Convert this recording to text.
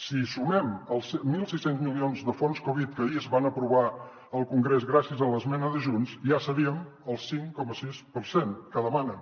si hi sumem els mil sis cents milions de fons covid que ahir es van aprovar al congrés gràcies a l’esmena de junts ja seríem al cinc coma sis per cent que demanen